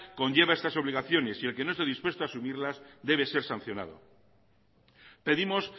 conlleva estas obligaciones y el que no esté dispuesto a asumirlas debe ser sancionado pedimos